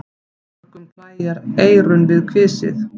Mörgum klæjar eyrun við kvisið.